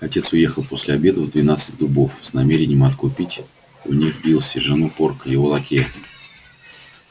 отец уехал после обеда в двенадцать дубов с намерением откупить у них дилси жену порка его лакея